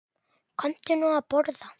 Komdu nú að borða